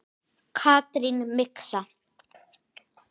Katrín Mixa.